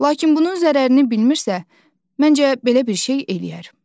Lakin bunun zərərini bilmirsə, məncə belə bir şey eləyər.